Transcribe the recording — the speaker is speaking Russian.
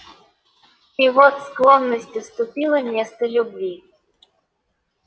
и вот склонность уступила место любви